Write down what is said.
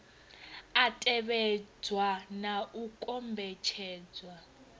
a tevhedzwa na u kombetshedzwa